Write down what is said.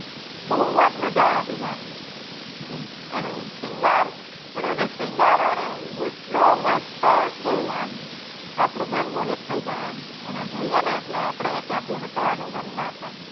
બહુજ મજા આવી આમ એનું શ્રીંગાર એનું જે શ્રીંગાર હોય ને ઈ એટલો મસ્ત ને કે આમ આપણું મન મોહિત થઇ જાય એમ એને જોઈયે ને એટલે આપણે ત્યાં થી હટવાનું મન ના થાય